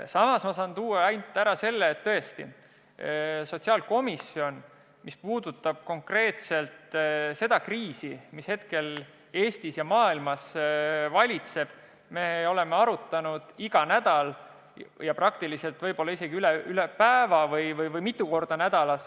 Samas ma saan kinnitada, et mis puudutab konkreetselt seda kriisi, mis Eestis ja maailmas valitseb, siis komisjon on olukorda arutanud iga nädal ja praktiliselt võib-olla isegi üle päeva või vähemalt mitu korda nädalas.